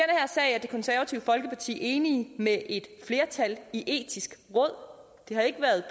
her sag er det konservative folkeparti enige med et flertal i det etiske råd det har ikke været